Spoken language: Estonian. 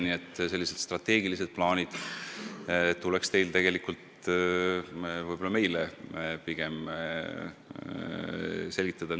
Nii et selliseid strateegilisi plaane, mis teil kavas on, tuleks tegelikult pigem teil meile selgitada.